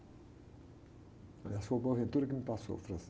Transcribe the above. Aliás, foi o que me passou, o francês.